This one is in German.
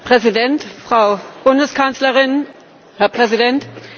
Herr Präsident, Frau Bundeskanzlerin, Herr Präsident!